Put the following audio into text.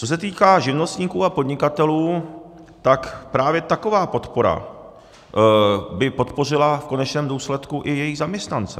Co se týká živnostníků a podnikatelů, tak právě taková podpora by podpořila v konečném důsledku i jejich zaměstnance.